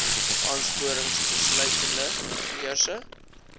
aansporings insluitende beurse